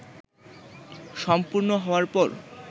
সম্পূর্ণ হওয়ার পর